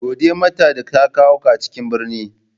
Gode mata da ta kawo ka cikin birni.